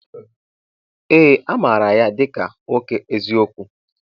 Ee! Amaara ya dịka nwoke eziokwu.